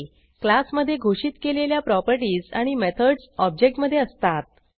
क्लासमधे घोषित केलेल्या प्रॉपर्टीज आणि मेथडस ऑब्जेक्ट मधे असतात